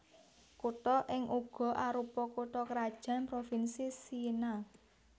Kutha iki uga arupa kutha krajan provinsi Siena